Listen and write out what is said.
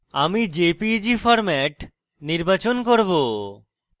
আমি jpeg format নির্বাচন করব